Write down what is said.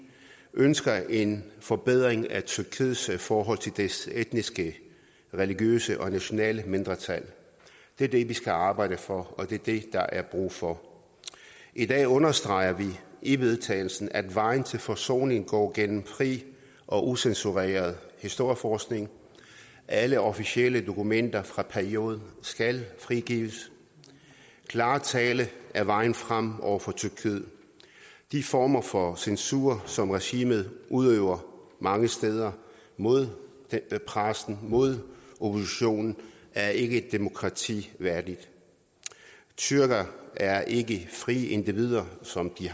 ønsker en forbedring af tyrkiets forhold til dets etniske religiøse og nationale mindretal det er det vi skal arbejde for og det er det der er brug for i dag understreger vi i vedtagelsen at vejen til forsoning går gennem fri og ucensureret historieforskning alle officielle dokumenter fra perioden skal frigives klar tale er vejen frem over for tyrkiet de former for censur som regimet udøver mange steder mod pressen mod oppositionen er ikke et demokrati værdigt tyrkere er ikke frie individer som de